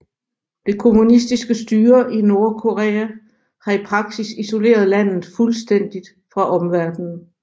Det kommunistiske styre i Nordkorea har i praksis isoleret landet fuldstændigt fra omverdenen